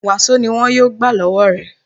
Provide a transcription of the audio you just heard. Wàsó ni wọn yóò gbà lọ́wọ́ rẹ